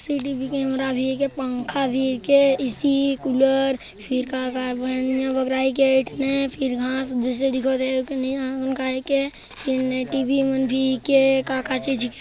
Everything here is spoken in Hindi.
सीडी भी के कमेरा भी के पंखा भी के ए_सी कूलर फिर का का बन बगराई के एक ठने फिर घांस भूसा दिखत हे फिर टी बी मन भी के का का चीज--